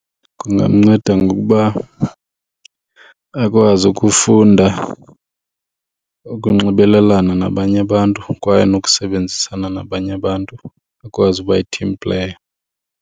Kungamnceda ngokuba akwazi ukufunda ukunxibelelana nabanye abantu kwaye nokusebenzisana nabanye abantu, akwazi uba yi-team player.